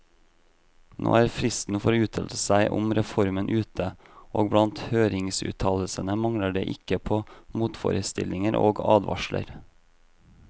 Nå er fristen for å uttale seg om reformen ute, og blant høringsuttalelsene mangler det ikke på motforestillinger og advarsler.